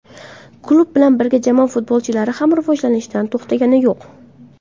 Klub bilan birga jamoa futbolchilari ham rivojlanishdan to‘xtagani yo‘q.